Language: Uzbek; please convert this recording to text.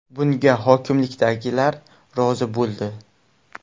Bunga hokimlikdagilar rozi bo‘ldi.